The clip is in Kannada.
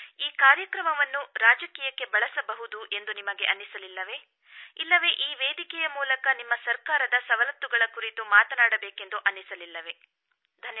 ಈ ಕಾರ್ಯಕ್ರಮವನ್ನು ರಾಜಕೀಯಕ್ಕೆ ಬಳಸಬಹುದು ಎಂದು ನಿಮಗೆ ಅನ್ನಿಸಲಿಲ್ಲವೆ ಇಲ್ಲವೆ ಈ ವೇದಿಕೆಯ ಮೂಲಕ ನಿಮ್ಮ ಸರ್ಕಾರದ ಸವಲತ್ತುಗಳ ಕುರಿತು ಮಾತನಾಡಬೇಕೆಂದು ಅನ್ನಿಸಲಿಲ್ಲವೆ ಧನ್ಯವಾದ